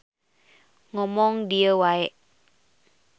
Ngomong dieu wae.